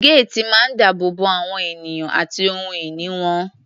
Géètì máa ń dáàbò bo àwọn ènìyàn àti ohun ìní wọn.